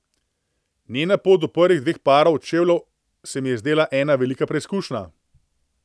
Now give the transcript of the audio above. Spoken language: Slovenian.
Njena pot do prvih dveh parov čevljev se mi je zdela ena velika preizkušnja.